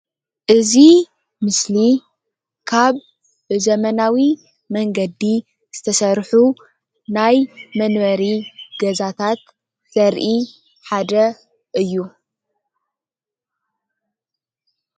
እዚ ምስሊ ካብ ብዘበናዊ መንገዲ ዝተሰርሑ ናይ መንበሪ ገዛታት ዘራኢ ሓደ እዩ።